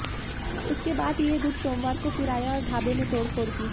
उसके बाद ये गुट सोमवार को फिर आया और ढाबे में तोड़फोड़ की